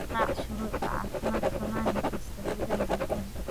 Raac shuruucda caafimaadka maalin kasta gudaha jikada.